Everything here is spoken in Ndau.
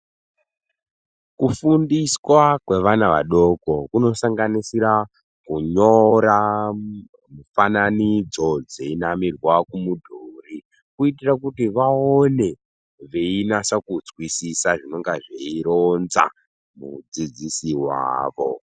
Kufundiswa kwevana vadoko kuno sanganisira kunyora mufananidzo dzeyinamirwa ku mudhuri kuitira kuti vaone veyinasa kunzwisisa zvinonga zveyironza mudzidzisi wavo.